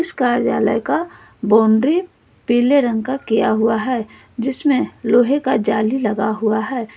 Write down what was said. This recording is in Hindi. इस कार्यालय का बाउंड्री पीले रंग का किया हुआ है जिसमें लोहे का जाली लगा हुआ है।